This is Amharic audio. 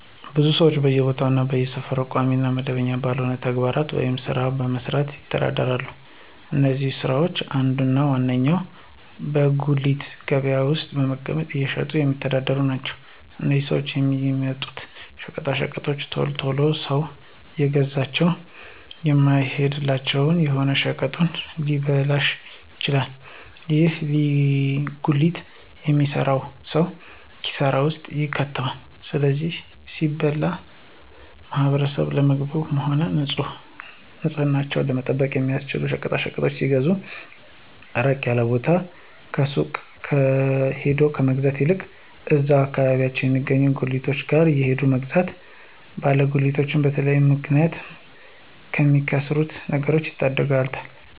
ብዙ ሰወች በየቦታው እና በየሰፈሩ ቋሚ እና መደበኛ ባልሆነ ተግባር ወይም ስራ በመስራት ይተዳደራሉ። ከነዚህም ስራወች አንዱ እና ዋነኛው በጉሊት ገበያ ውስጥ በመቀመጥ እየሸጡ የሚተዳደሩ ናቸው። እነዚህም ሰወች የሚያመጡት ሸቀጣሸቀጦች ቶሎ ቶሎ ሰው እየገዛቸው የማይሄድላቸው ከሆነ ሸቀጣሸቀጡ ሊበላሹ ይችላሉ። ይህም ጉሊት የሚሰራውን ሰው ኪሳራ ውስጥ ይከተዋል። ለዚህም ሲባል ማህበረሰቡ ለምግብነትም ሆነ ንፅህናቸውን ለመጠበቅ የሚያስፈልጉ ሸቀጣሸቀጦችን ሲገዙ ራቅ ያለ ቦታ ካሉ ሱቆች ሄዶ ከመግዛት ይልቅ እዛው አከባቢያቸው የሚገኙ ጉሊቶች ጋር ሄዶ መግዛት ባለ ጉሊቱን በተለያየ ምክንያት ከሚያከስሩት ነገሮች ይታደጉታል።